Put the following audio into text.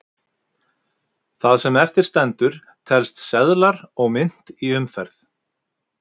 það sem eftir stendur telst seðlar og mynt í umferð